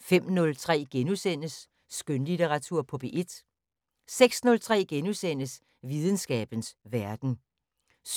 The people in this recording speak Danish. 05:03: Skønlitteratur på P1 * 06:03: Videnskabens Verden * 07:03: